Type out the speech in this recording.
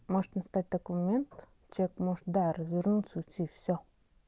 может настать такой момент человек может да развернуться уйти всё